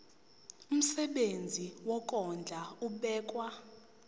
umsebenzi wokondla ubekwa